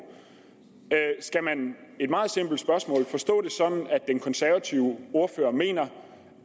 skal man det et meget simpelt spørgsmål forstå det sådan at den konservative ordfører mener